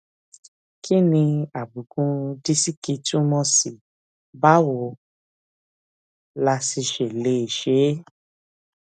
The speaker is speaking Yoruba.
kí ni àbùkù disiki túmò sí báwo la sì ṣe lè ṣe é